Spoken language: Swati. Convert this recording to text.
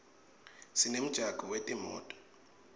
sinemjako wetimoto